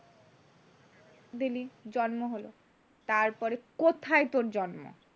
দিলি জন্ম হল, তারপরে কোথায় তোর জন্ম?